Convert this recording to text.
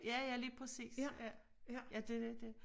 Ja ja lige præcis ja ja det lidt dét